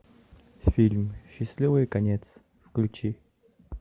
фильм счастливый конец включи